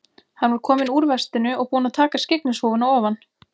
Hann var kominn úr vestinu og búinn að taka skyggnishúfuna ofan.